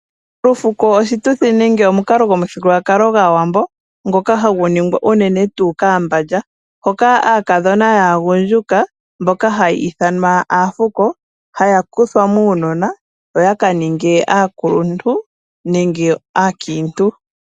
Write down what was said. Olufuko oshituthi nenge omukalo gwomuthigululwakalo gwaAwambo ngoka hagu ningwa unene tuu kAambandja, hoka aakadhona yaagundjuka mboka haya ithanwa aafuko haya kuthwa muunona yo ya ka ninge aakuluntu nenge aakiintu.